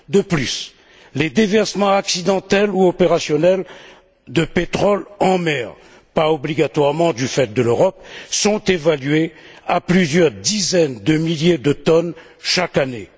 De plus, les déversements accidentels ou opérationnels de pétrole en mer, pas obligatoirement du fait de l'Europe, sont évalués à plusieurs dizaines de milliers de tonnes chaque année.